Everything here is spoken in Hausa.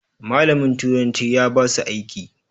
Malamin turanci ya basu aiki.